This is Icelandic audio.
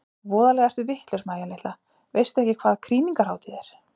Voðalega ertu vitlaus Mæja litla, veistu ekki hvað krýningarhátíð er?